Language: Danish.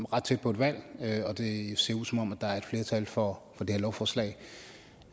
ret tæt på et valg og det ser ud som om der er flertal for det her lovforslag